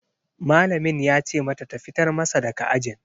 Malamin ya ce mata ta fitar masa daga ajin